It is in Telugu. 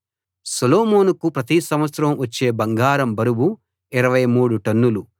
సొలొమోనుకు ప్రతి సంవత్సరం వచ్చే బంగారం బరువు 23 టన్నులు